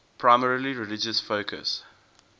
primarily religious focus